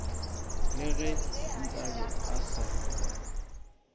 le ge nkabe a se